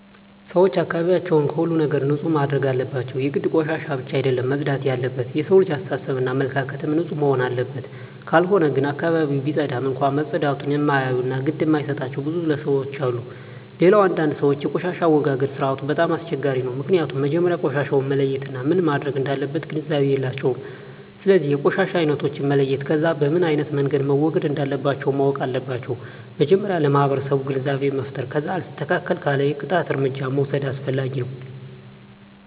ሰወች አካባቢያቸውን ከሁሉም ነገር ንፁህ ማድረግ አለባቸው የግድ ቆሻሻ ብቻ አደለም መፅዳት የለበት የሠው ልጅ አሰተሳሰብ እና አመለካከትም ንፁህ መሆንና አለበት ካልሆነ ግን አካባቢውን ቢፀዳም እንኳ መፀዳቱን እማያዮ እና ግድ እማይጣቸው ብዙ ለሠዎች አሉ። ሌላው አንዳንድ ሰወች የቆሻሻ አወጋገድ ስርዓቱ በጣም አስቸጋሪ ነው ምክኒያቱም መጀመሪያ ቆሻሻውን መለየት እና ምን መረግ እንዳለበት ግንዛቤ የላቸውም ስለዚ የቆሻሻ አይነቶችን መለየት ከዛ በምኖ አይነት መንገድ መወገድ እንለባቸው ማወቅ አለባቸው መጀመሪያ ለማህበረሰቡ ግንዛቤ መፍጠር ከዛ አልስተካክል ካለ የቅጣት እርምጃ መውስድ አስፈላጊ ነው